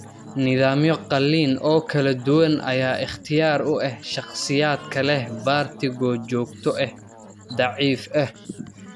Nidaamyo qalliin oo kala duwan ayaa ikhtiyaar u ah shakhsiyaadka leh vertigo joogto ah, daciif ah.